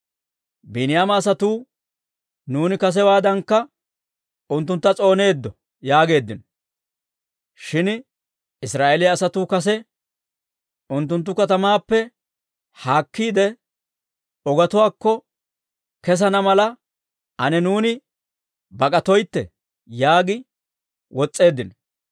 Biiniyaama asatuu, «Nuuni kasewaadankka unttuntta s'ooneeddo!» yaageeddino. Shin Israa'eeliyaa asatuu kase, «Unttunttu katamaappe haakkiide, ogetuwaakko kesana mala, ane nuuni bak'atoytte» yaagi wotseeddino.